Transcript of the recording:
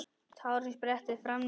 Tárin spretta fram á ný.